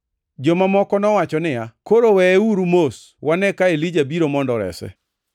Joma moko nowacho niya, “Koro weyeuru mos, wane ka Elija biro mondo orese.”